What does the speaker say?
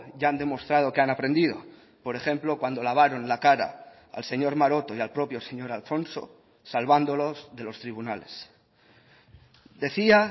ya han demostrado que han aprendido por ejemplo cuando lavaron la cara al señor maroto y al propio señor alfonso salvándolos de los tribunales decía